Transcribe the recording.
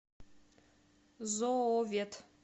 зоовет